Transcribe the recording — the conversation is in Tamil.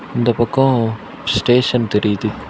இந்த பக்கோ ஸ்டேஷன் தெரியுது.